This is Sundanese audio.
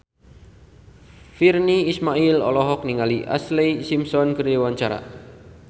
Virnie Ismail olohok ningali Ashlee Simpson keur diwawancara